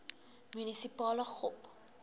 munisipale gop